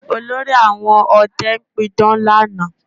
Olórí àwọn ọdẹ pidán lánàá